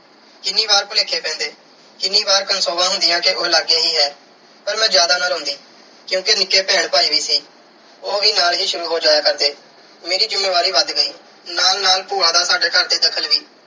ਕਿੰਨੀ ਵਾਰ ਭੁਲੇਖੇ ਪੈਂਦੇ। ਕਿੰਨੀ ਵਾਰ ਕਨਸੋਆਂ ਹੁੰਦੀਆਂ ਕਿ ਉਹ ਲਾਗੇ ਹੀ ਹੈ ਪਰ ਮੈਂ ਜਿਆਦਾ ਨਾ ਰੋਂਦੀ ਕਿਉਂਕਿ ਨਿੱਕੇ ਭੈਣ ਭਾਈ ਵੀ ਸੀ। ਉਹ ਵੀ ਨਾਲ ਹੀ ਸ਼ੁਰੂ ਹੋ ਜਾਇਆ ਕਰਦੇ। ਮੇਰੀ ਜ਼ਿੰਮੇਵਾਰੀ ਵੱਧ ਗਈ। ਨਾਲ-ਨਾਲ ਭੂਆ ਦਾ ਸਾਡੇ ਘਰ 'ਦਖ਼ਲ ਵੀ।